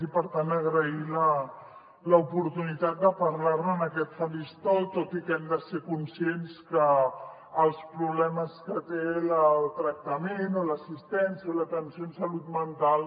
i per tant agrair l’oportunitat de parlar ne en aquest faristol tot i que hem de ser conscients que els problemes que té el tractament o l’assistència l’atenció en salut mental